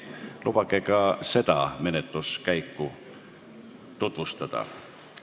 Lubage ka seda menetluskäiku tutvustada.